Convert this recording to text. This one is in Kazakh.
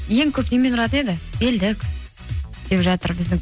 ең көп немен ұратын еді белдік деп жатыр біздің